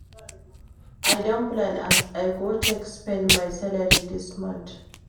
I don plan as I go take spend my salary dis month.